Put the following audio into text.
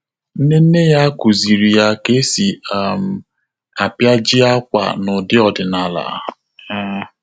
Nne nne ya kụ́zị̀rị̀ ya kà ésì um ápịajị ákwà n’ụ́dị́ ọ́dị́nála. um